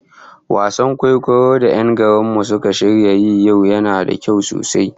Wasan kwaikwayon da 'yan garin mu suka shirya yi a yau yana da kyau sosai